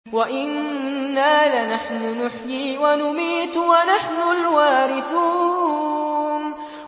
وَإِنَّا لَنَحْنُ نُحْيِي وَنُمِيتُ وَنَحْنُ الْوَارِثُونَ